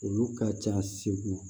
Olu ka ca segu